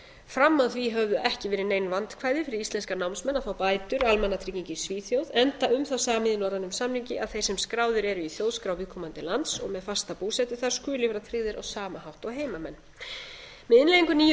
að því höfðu ekki verið nein vandkvæði fyrir íslenska námsmenn að fá bætur almannatrygginga í svíþjóð enda um það samið í norrænum samningi að þeir sem skráðir eru í þjóðskrá viðkomandi lands og með fasta búsetu þar skuli vera tryggðir á sama hátt og heimamenn með innleiðingu nýju